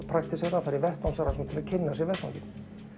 praktíserað að fara í vettvangsrannsókn til að kynna sér vettvanginn